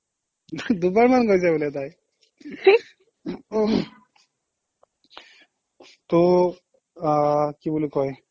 দুবাৰমান গৈছে বোলে তাই ত' আহ কি বুলি কয়